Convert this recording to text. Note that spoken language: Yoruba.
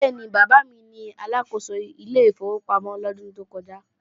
Bẹ́ẹ̀ni, bàbá mi ni Aláàkóso ilé ìfowópamọ́ lọ́dún tó kọja